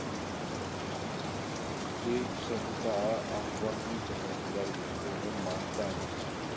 એ ક્ષમતા આપવાની જવાબદારી હવે માતાની છે.